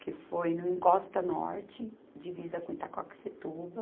Que foi no Encosta Norte, divisa com Itaquaquecetuba